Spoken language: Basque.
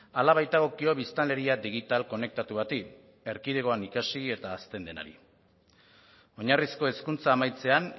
hala baitagokio biztanleria digital konektatu bati erkidegoan ikasi eta hazten denari oinarrizko hezkuntza amaitzean